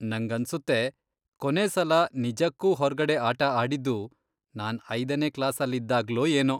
ನಂಗನ್ಸುತ್ತೆ ಕೊನೆ ಸಲ ನಿಜಕ್ಕೂ ಹೊರ್ಗಡೆ ಆಟ ಆಡಿದ್ದು ನಾನ್ ಐದನೇ ಕ್ಲಾಸಲ್ಲಿದ್ದಾಗ್ಲೋ ಏನೋ.